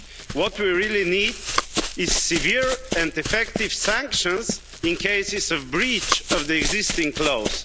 What we really need is severe and effective sanctions in cases of breaches of the existing clause.